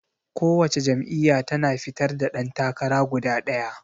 Ko wace jam'iyya tana fitar da ɗan takara guda ɗaya.